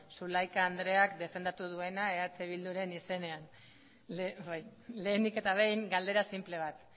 zulaika andreak defendatu duena eh biduren izenean lehenik eta behin galdera sinple bat